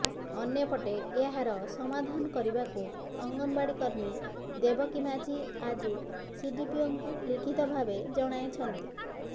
ଅନ୍ୟପଟେ ଏହାର ସମାଧାନ କରିବାକୁ ଅଙ୍ଗନବାଡି କର୍ମୀ ଦେବକୀ ମାଝୀ ଆଜି ସିଡିପିଓଙ୍କୁ ଲିଖିତ ଭାବେ ଜଣାଇଛନ୍ତି